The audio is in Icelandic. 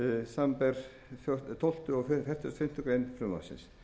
samanber tólfta og fertugasta og fimmtu grein frumvarpsins